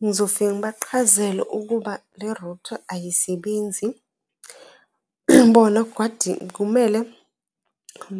Ngizofika ngibaqhazele ukuba le-router ayisebenzi. kumele